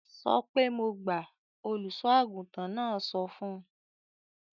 "Sọ pé mo gbà!" Olùṣọ́-àgùntàn náà sọ fún un.